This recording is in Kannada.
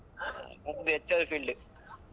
ಆ ನಮ್ದು HR field.